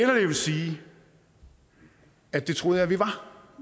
jeg vil sige at det troede